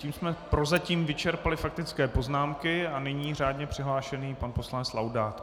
Tím jsme prozatím vyčerpali faktické poznámky a nyní řádně přihlášený pan poslanec Laudát.